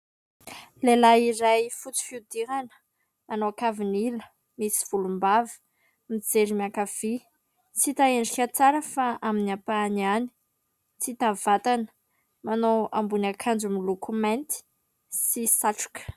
Lehilahy iray fotsy fiodirana nanao kavin'ila misy volombava. Mijery miankavia tsy hita endrika tsara fa amin'ny ampahany ihany, tsy hita vatana, manao ambonin' ankanjo miloko mainty sy satroka.